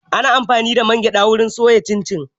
Ana amfani da man gyada wurin soya cin cin.